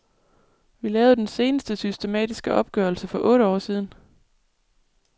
Vi lavede den seneste systematiske opgørelse for otte år siden.